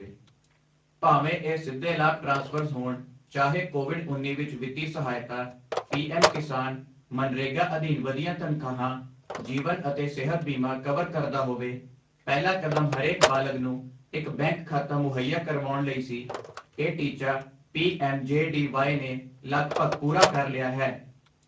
ਭਾਵੇਂ ਇਹ ਸਿੱਧੇ ਲਾਭ ਟ੍ਰਾਂਸਫ਼ਰਜ਼ ਹੋਣ, ਚਾਹੇ ਕੋਵਿਡ ਉੱਨੀ ਵਿਚ ਵਿੱਤੀ ਸਹਾਇਤਾ, ਪੀ ਐੱਮ ਕਿਸਾਨ, ਮਨਰੇਗਾ ਅਧੀਨ ਵਧੀਆਂ ਤਨਖਾਹਾਂ, ਜੀਵਨ ਅਤੇ ਸਿਹਤ ਬੀਮਾ ਕਵਰ ਕਰਦਾ ਹੋਵੇ, ਪਹਿਲਾ ਕਦਮ ਹਰੇਕ ਬਾਲਗ਼ ਨੂੰ ਇੱਕ ਬੈਂਕ ਖਾਤਾ ਮੁਹੱਈਆ ਕਰਵਾਉਣ ਲਈ ਸੀ, ਇਹ ਟੀਚਾ P M J D Y ਨੇ ਲਗਭਗ ਪੂਰਾ ਕਰ ਲਿਆ ਹੈ।